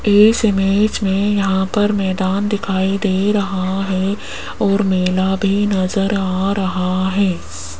इस इमेज में यहां पर मैदान दिखाई दे रहा है और मेला भी नजर आ रहा है।